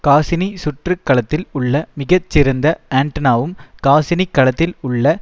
காசினி சுற்று கலத்தில் உள்ள மிக சிறந்த ஆன்டெனாவும் காசினிக் கலத்தில் உள்ள